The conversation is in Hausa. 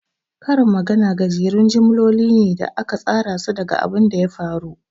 Karin magana gajerun jimloli ne da aka tsarasu daga abunda ya faru.